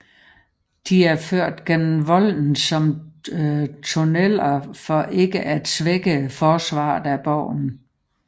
De er ført gennem volden som tunneler for ikke at svække forsvaret af borgen